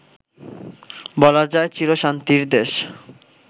বলা যায় চিরশান্তির দেশ